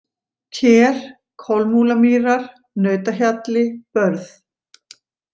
Ker, Kolmúlamýrar, Nautahjalli, Börð